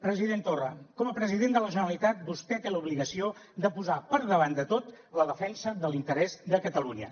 president torra com a president de la generalitat vostè té l’obligació de posar per davant de tot la defensa de l’interès de catalunya